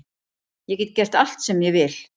Ég get gert allt sem ég vil.